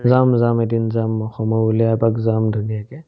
যাম যাম এদিন যাম সময় উলিয়াই এপাক যাম ধুনীয়াকে